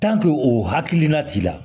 o hakilina t'i la